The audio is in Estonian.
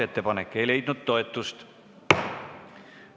Ettepanek ei leidnud toetust.